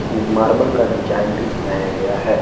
में मार्बल का डिजाइन भी बनाया गया है।